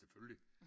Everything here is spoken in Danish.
Selvfølgelig!